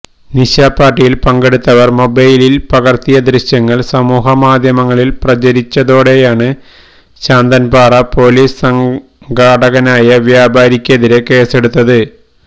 നിശാപാർട്ടിയിൽ പങ്കെടുത്തവർ മൊബൈലിൽ പകർത്തിയ ദൃശ്യങ്ങൾ സാമൂഹികമാധ്യങ്ങളിൽ പ്രചരിച്ചതോടെയാണ് ശാന്തൻപാറ പൊലീസ് സംഘാടകനായ വ്യാപാരിക്കെതിരെ കേസെടുത്തത്